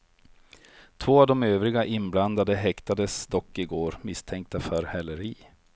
Två av de övriga inblandade häktades dock i går, misstänkta för häleri.